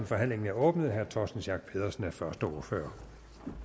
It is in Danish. forhandlingen er åbnet herre torsten schack pedersen er første ordfører